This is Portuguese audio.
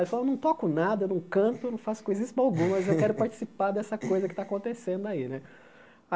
Ele falou, eu não toco nada, eu não canto, eu não faço coisíssima alguma, mas eu quero participar dessa coisa que está acontecendo aí né.